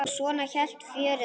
Og svona hélt fjörið áfram.